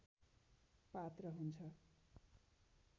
पात्र हुन्छ